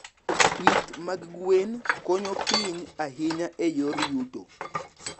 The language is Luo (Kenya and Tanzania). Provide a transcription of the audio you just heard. Pith mag gwen konyo piny ahinya e yor yuto.